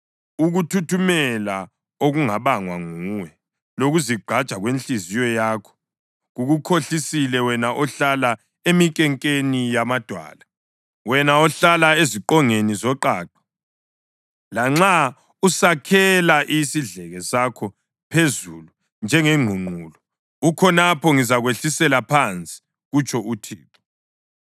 Ukuthuthumela okungabangwa nguwe, lokuzigqaja kwenhliziyo yakho kukukhohlisile, wena ohlala eminkenkeni yamadwala, wena ohlala ezingqongeni zoqaqa. Lanxa usakhela isidleke sakho phezulu njengengqungqulu, ukhonapho ngizakwehlisela phansi,” kutsho uThixo.